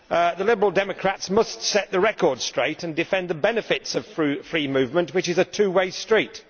The Liberal Democrats must set the record straight and defend the benefits of free movement, which is a two way street.